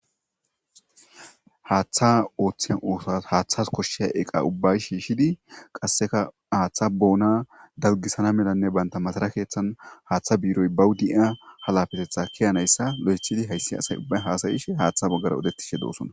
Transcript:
Haaththa ooththiza ooththaas haaththas koshshiya eqa ubbay shiishidi qasseka haaththa boona dalgisana melanne banta masara keeththan haaththa biiroy bawu de'iya halafeteththa kiyanayssa lo'eththidi hayssi asay ubba haasayishe haaththa baggara odettishe doosona